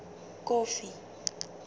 kofi